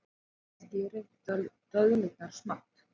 Skerið döðlurnar smátt.